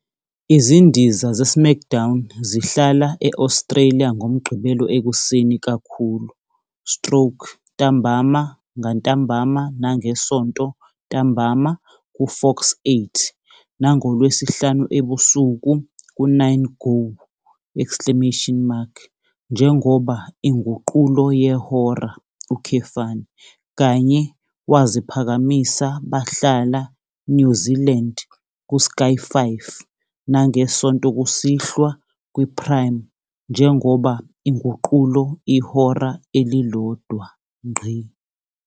Izindiza zeSmackDown zihlala e-Australia ngoMgqibelo ekuseni kakhulu stroke ntambama ngantambama nangeSonto ntambama kuFox8 nangoLwesihlanu ebusuku ku- 9Go! njengoba inguqulo yehora, kanye waziphakamisa bahlala New Zealand ku Sky 5 nangeSonto kusihlwa kwi Prime njengoba inguqulo ihora elilodwa.